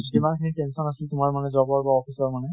ইমান খিনি tension আছিল, তোমাৰ job ৰ বা office মানে